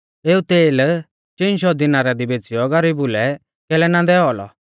एऊ तेल चिन शौ दिनारा दी बेच़िऔ गरीबु लै कैलै ना दैऔ औलौ